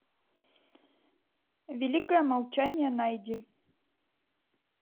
великое молчание найди